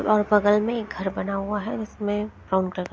और बगल में एक घर बना हुआ है उसमें एक फाउंटन --